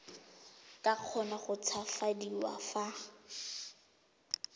ka kgona go tshabafadiwa fa